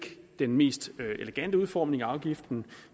den mest elegante udformning af afgiften